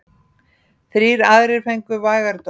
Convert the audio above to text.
Þrír aðrir fengu vægari dóma.